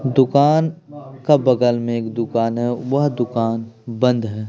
दुकान का बगल में एक दुकान हैं वह दुकान बंद हैं ।